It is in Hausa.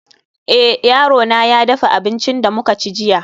eh, yarona ya dafa abincin da muka ci jiya